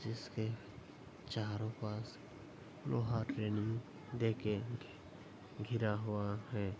जिसके चारों पास लोहा ट्रेनिंग दे के घिरा हुआ है।